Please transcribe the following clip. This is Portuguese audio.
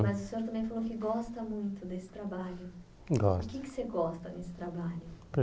Mas o senhor também falou que gosta muito desse trabalho. Gosto O que é que você gosta nesse trabalho